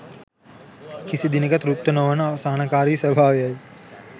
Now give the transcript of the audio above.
කිසි දිනෙක තෘප්ත නොවන අසහනකාරී ස්වභාවයයි.